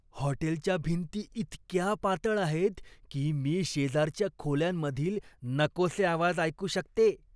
हॉटेलच्या भिंती इतक्या पातळ आहेत की, मी शेजारच्या खोल्यांमधील नकोसे आवाज ऐकू शकते.